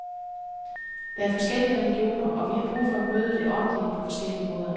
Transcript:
Der er forskellige religioner og vi har brug for at møde det åndelige på forskellige måder.